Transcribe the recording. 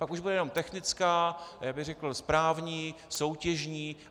Pak už bude jenom technická, já bych řekl správní, soutěžní.